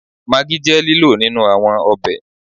Maggi je lilo ninu awọn ọbẹ